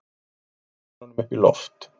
Beindu myndavélunum upp í loft